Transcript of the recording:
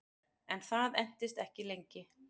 En það entist ekki lengi